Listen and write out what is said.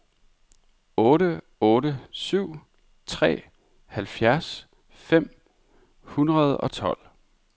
otte otte syv tre halvfjerds fem hundrede og tolv